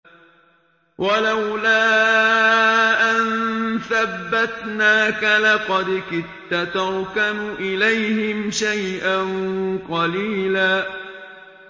وَلَوْلَا أَن ثَبَّتْنَاكَ لَقَدْ كِدتَّ تَرْكَنُ إِلَيْهِمْ شَيْئًا قَلِيلًا